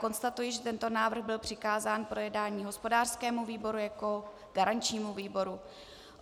Konstatuji, že tento návrh byl přikázán k projednání hospodářskému výboru jako garančnímu výboru.